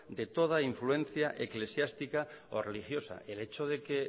de toda influencia eclesiástica o religiosa el hecho de que